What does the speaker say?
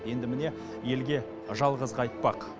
енді міне елге жалғыз қайтпақ